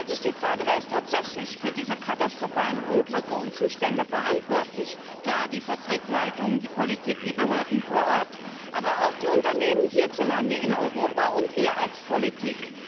Es stellt sich die Frage Wer ist tatsächlich für diese katastrophalen Unglücke und Zustände verantwortlich? Klar, die Fabrikleitungen, die Politik, die Behörden vor Ort, aber auch die Unternehmen hierzulande in Europa und wir als Politik.